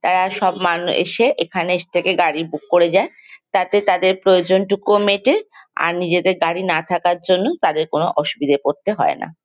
তারা সব মানু এসে এখানে থেকে গাড়ি বুক করে যায় তাতে তাদের প্রয়োজন টুকুও মেটে আর নিজেদের গাড়ি না থাকার জন্য তাদের কোনো অসুবিধেয় পড়তে হয় না।